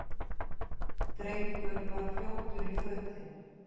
Drengur var fljótur í fötin.